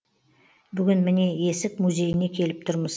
бүгін міне есік музейіне келіп тұрмыз